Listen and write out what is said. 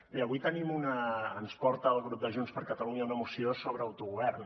bé avui ens porta el grup de junts per catalunya una moció sobre autogovern